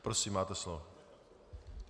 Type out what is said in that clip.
Prosím, máte slovo.